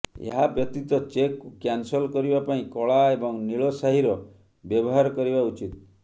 ଏହା ବ୍ୟତୀତ ଚେକକୁ କ୍ୟାନସଲ୍ କରିବା ପାଇଁ କଳା ଏବଂ ନୀଳ ସ୍ୟାହିର ବ୍ୟବହାର କରିବା ଉଚିତ୍